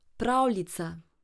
Pravljica.